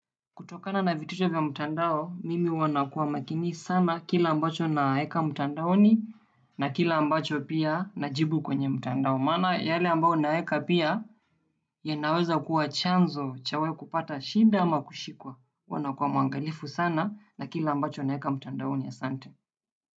Kutokana na vitisho vya mtandao, mimi huwa nakuwa makini sana kile ambacho naeka mtandaoni na kile ambacho pia najibu kwenye mtandao. Maana yale ambayo unaeka pia yanaweza kuwa chanzo cha wewe kupata shida ama kushikwa. Huwa nakuwa mwangalifu sana na kile ambacho naeka mtandaoni, asante.